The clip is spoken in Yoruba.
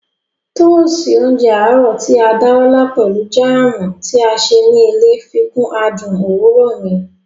Tóósi oúnjẹ àárọ̀ tí a dá lọ́lá pelu jáàmù tí a ṣe ní ilé fikún adùn òwúrọ̀ mi